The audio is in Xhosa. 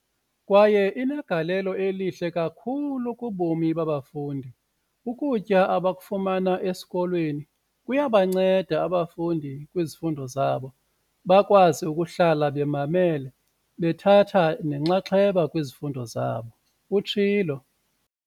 "kwaye inegalelo elihle kakhulu kubomi babafundi. Ukutya abakufumana esikolweni kuyabanceda abafundi kwizifundo zabo, bakwazi ukuhlala bemamele bethatha nenxaxheba kwizifundo zabo," utshilo.